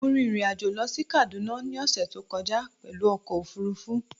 Mo rin ìrìn-àjò lọ sí Kaduna ní ọ̀ṣẹ̀ tó kọjá pẹ̀lú ọkọ̀ òfurufú